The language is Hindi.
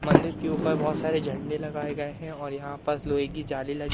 मंदिर के ऊपर बहोत सारे झंडे लगाए गए हैं और यहां पास लोहे की जाली लगी--